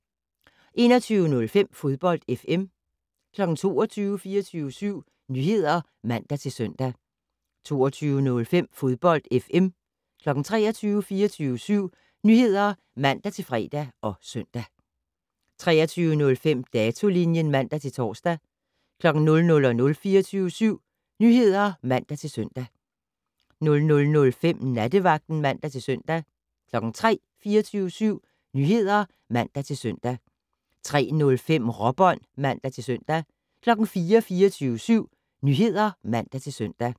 21:05: Fodbold FM 22:00: 24syv Nyheder (man-søn) 22:05: Fodbold FM 23:00: 24syv Nyheder (man-fre og søn) 23:05: Datolinjen (man-tor) 00:00: 24syv Nyheder (man-søn) 00:05: Nattevagten (man-søn) 03:00: 24syv Nyheder (man-søn) 03:05: Råbånd (man-søn) 04:00: 24syv Nyheder (man-søn)